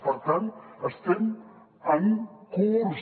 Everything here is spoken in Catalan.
per tant estem en curs